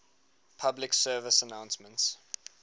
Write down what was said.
public service announcements